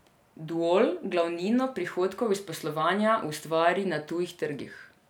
Duol glavnino prihodkov iz poslovanja ustvari na tujih trgih.